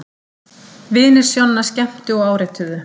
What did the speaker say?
Vinir Sjonna skemmtu og árituðu